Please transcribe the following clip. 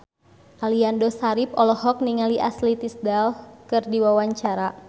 Aliando Syarif olohok ningali Ashley Tisdale keur diwawancara